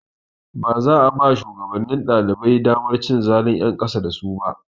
Baza a ba shugabannin ɗalibai damar cin zalun ƴan ƙasa da su ba.